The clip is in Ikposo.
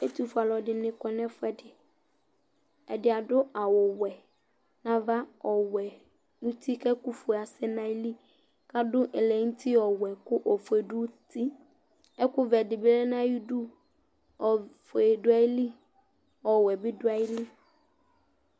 Ɛtʋfʋe aluɛɖìŋí kɔ ŋu ɛfʋɛɖi Ɛɖì aɖu awu wɛ ŋu ava, ɔwɛ ŋu ʋti kʋ ɛku fʋe asɛnu nʋ ayìlí kʋ adu ɛlɛnʋti ɔwɛ kʋ ɔfʋe du ʋti Ɛkʋ vɛ ɖìbí ya ŋu ayʋidu Ɔfʋe dʋ ayìlí, ɔwɛ bi ɖʋ ayìlí